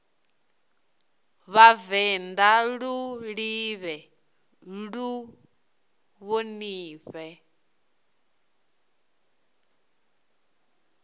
vhavenḓa lu ḓivhee lu ṱhonifhee